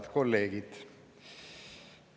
Head kolleegid!